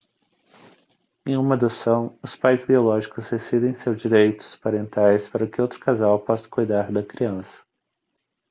em uma adoção os pais biológicos rescindem seus direitos parentais para que outro casal possa cuidar da criança